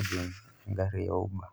ojing' eng'ari e uber.